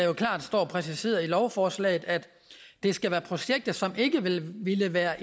jo klart står præciseret i lovforslaget at det skal være projekter som ikke ville være